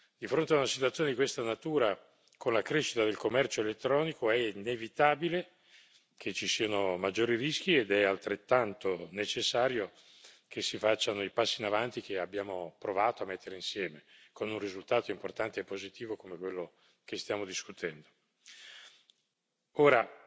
Di fronte a una situazione di questa natura, con la crescita del commercio elettronico è inevitabile che ci siano maggiori rischi ed è altrettanto necessario che si facciano i passi in avanti che abbiamo provato a mettere insieme, con un risultato importante e positivo come quello che stiamo discutendo. Ora,